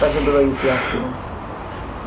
так же было и с ястребом